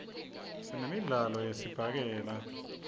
sinemidlo yesibhakela